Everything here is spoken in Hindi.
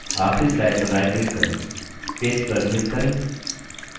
आखरी स्लाइड पर राइट क्लिक करें paste पर क्लिक करें